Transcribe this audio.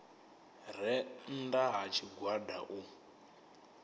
re nnda ha tshigwada u